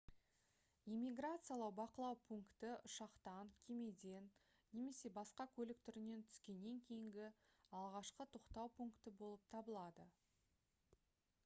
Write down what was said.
иммиграциялық бақылау пункті ұшақтан кемеден немесе басқа көлік түрінен түскеннен кейінгі алғашқы тоқтау пункті болып табылады